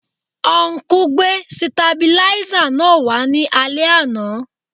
Ọnkú gbé sitabiláísà náà wá ní alẹ́ àná